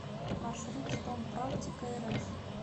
маршрут стомпрактикарф